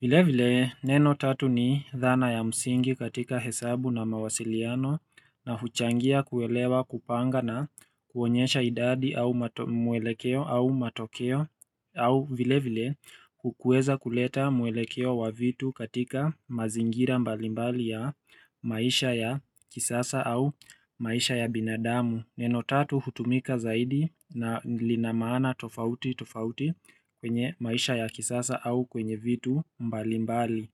Vile vile neno tatu ni dhana ya msingi katika hesabu na mawasiliano na huchangia kuelewa kupanga na kuonyesha idadi au mwelekeo au matokeo au vile vile kukueza kuleta mwelekeo wa vitu katika mazingira mbalimbali ya maisha ya kisasa au maisha ya binadamu Neno tatu hutumika zaidi na lina maana tofauti tofauti kwenye maisha ya kisasa au kwenye vitu mbali mbali.